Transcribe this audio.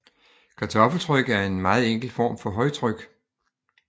Kartoffeltryk er en meget enkel form for højtryk